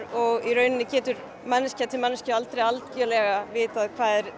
og í rauninni manneskja til manneskju aldrei algjörlega vitað hvað er